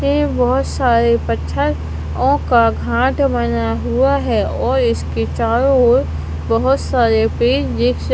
ये बोहोत सारे पत्थर ओं का घाट बना हुआ है और इसके चारों ओर बोहोत सारे पेड़ देख--